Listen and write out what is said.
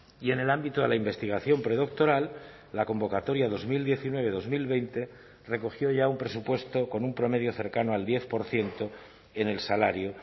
y en el ámbito de la investigación predoctoral la convocatoria dos mil diecinueve dos mil veinte recogió ya un presupuesto con un promedio cercano al diez por ciento en el salario